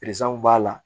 Pese mun b'a la